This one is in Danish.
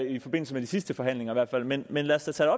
i forbindelse med de sidste forhandlinger men men lad os da tage